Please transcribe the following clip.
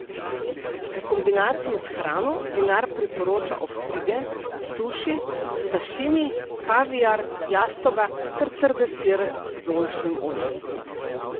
V kombinaciji s hrano vinar priporoča ostrige, suši, sašimi, kaviar, jastoga ter trde sire z oljčnim oljem.